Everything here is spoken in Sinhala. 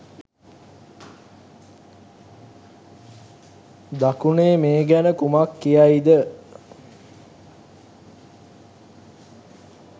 දකුණේ මේ ගැන කුමක් කියයිද?